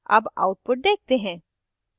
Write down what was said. अब output देखते हैं